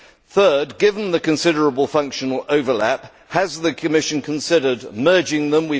Thirdly, given the considerable functional overlap, has the Commission considered merging them?